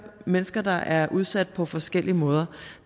mennesker der er udsat på forskellige måder